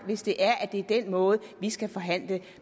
hvis det er at det er den måde vi skal forhandle